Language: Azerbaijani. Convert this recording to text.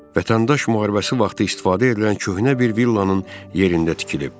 Vətəndaş müharibəsi vaxtı istifadə edilən köhnə bir villanın yerində tikilib.